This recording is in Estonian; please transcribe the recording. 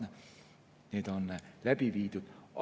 Need on läbi viidud.